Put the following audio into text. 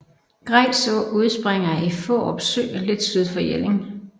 Grejs Å udspringer i Fårup Sø lidt syd for Jelling